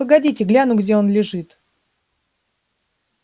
погодите гляну где он лежит